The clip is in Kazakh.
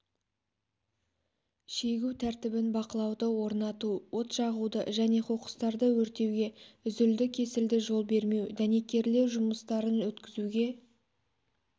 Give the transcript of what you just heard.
шегу тәртібін бақылауды орнату от жағуды және қоқыстарды өртеуге үзілді-кесілді жол бермеу дәнекерлеу жұмыстарын өткізуге